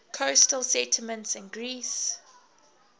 coastal settlements in greece